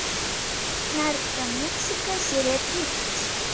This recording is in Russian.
наркомексика серия тридцать